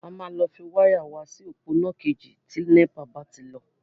A máa lọ fi wáyà wa si òpó iná ìkejì tí NEPA bá ti lọ.